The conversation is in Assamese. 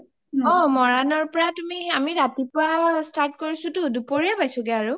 অ মৰাণৰ পৰা তুমি ৰাতিপোৱা start কৰিছোটো দুপৰীয়া পাইছোগে আৰু